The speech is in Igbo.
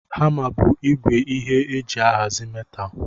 Hama bu igwe ihe eji ahazi metal